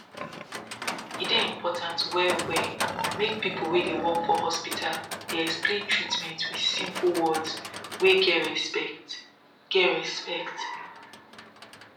e dey important wellwell make people wey dey work for hospital dey explain treatment with simple words wey get respect get respect